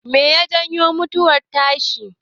Meye ya janyo mutuwar tashi?